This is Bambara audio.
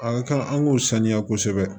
A kan an k'o sanuya kosɛbɛ